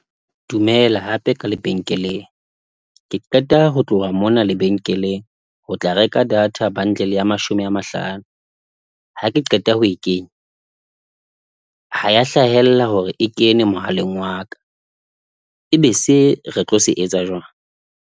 Dumela hape ka lebenkeleng. Ke qeta ho tloha mona lebenkeleng ho tla reka data bundle ya mashome a mahlano. Ha ke qeta ho e kenye, ha ya hlahella hore e kene mohaleng wa ka. Ebe se re tlo se etsa jwang?